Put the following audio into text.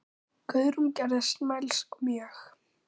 Guðrún gerðist mælsk mjög.